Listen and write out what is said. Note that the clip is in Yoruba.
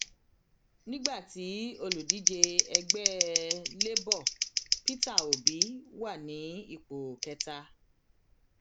nígbà tí olùdíje ẹgbẹ labour peter obi wà ní ipò kẹta